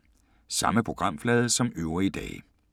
Samme programflade som øvrige dage